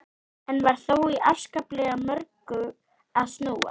Enn var þó í afskaplega mörgu að snúast.